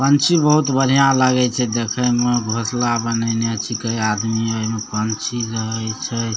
पंछी बहुत बढ़िया लागे छे देखे में घोंसला बनैले छेके आदमी है पंछी जे है से --